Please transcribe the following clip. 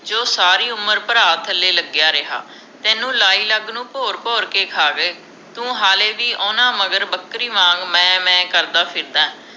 ਜੋ ਸਾਰੀ ਉਮਰ ਭਰਾ ਥਲੇ ਲਗਿਆ ਰਿਹਾ ਤੈਨੂੰ ਲਾਈ ਲੱਗ ਨੂੰ ਭੋਰ ਭੋਰ ਕੇ ਖਾਵੇ ਤੂੰ ਹਾਲੇ ਵੀ ਓਹਨਾ ਮਗਰ ਬੱਕਰੀ ਵਾਂਗ ਮੈਂ ਮੈਂ ਕਰਦਾ ਫਿਰਦਾ